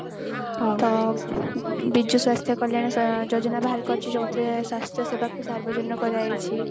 ତ ବିଜୁ ସ୍ୱାସ୍ଥ୍ୟ କଲ୍ୟାଣ ସ ଯୋଜନା ବାହାର କରିଚି ଯେଉଁଥିରେ ସ୍ୱାସ୍ଥ୍ୟ ସେବାକକୁ ସାର୍ବଜନୀନ କରାଯାଇଛି